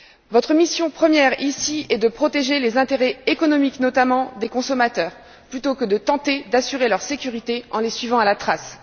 Votre mission première, ici, est de protéger les intérêts économiques, notamment, des consommateurs plutôt que de tenter d'assurer leur sécurité en les suivant à la trace.